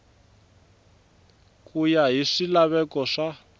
ku ya hi swilaveko swa